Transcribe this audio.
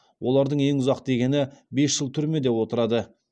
олардың ең ұзақ дегені бес жыл түрмеде отырады